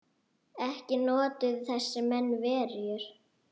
Ekki notuðu þessir menn verjur.